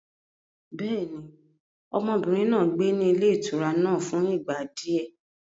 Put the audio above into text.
Bẹ́ẹ̀ni, ọmọbìnrin náà gbé ní ilé ìtura náà fún ìgbà di ẹ.